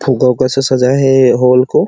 फुग्गा उग्गा से सजाए हे ये हॉल को--